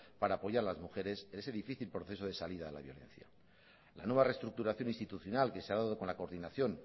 para apoyar a las mujeres en ese difícil proceso de salida de la violencia la nueva reestructuración institucional que se ha dado con la coordinación